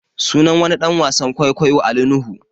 Sunan wani ɗan wasan kwaikwayo Ali Nuhu